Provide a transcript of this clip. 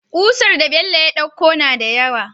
Kusar da Bello ya ɗauko nada yawa